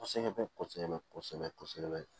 Kosɛbɛ bɛ kosɛbɛ kosɛbɛ